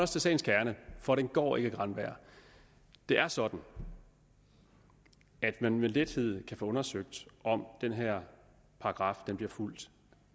til sagens kerne for den går ikke granberg det er sådan at man med lethed kan få undersøgt om den her paragraf bliver fulgt